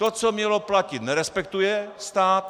To, co mělo platit, nerespektuje stát.